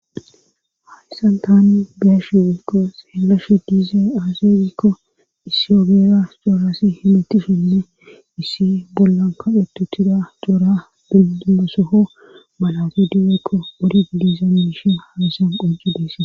hayyssan tani beyashewikko seelashe diize aazerikko isiyobera xoorasi himittishinne issi bollan kaqhetutida xoora binimesoho malase du7ekko mmwori liizan ishin halisan qoncu dessa